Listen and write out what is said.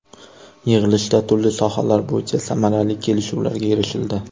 Yig‘ilishda turli sohalar bo‘yicha samarali kelishuvlarga erishildi.